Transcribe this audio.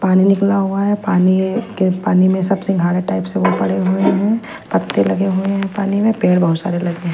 पानी निकला हुआ है पानी है के पानी में सब सिंघाड़ा टाइप से पड़े हुए है पत्ते लगे हुए है पानी में पेड़ बहोत सारे लगे हैं।